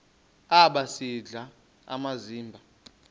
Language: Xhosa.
aba sisidl amazimba